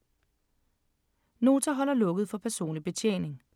Nota holder lukket for personlig betjening